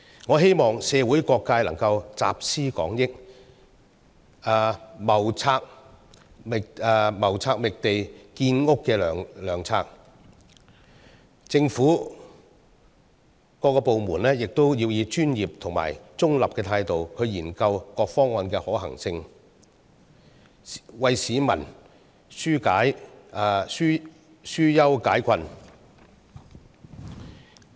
我希望社會各界能夠集思廣益，謀劃覓地建屋的良策；政府各個部門也應以專業和中立態度研究各方案的可行性，為市民紓憂解困。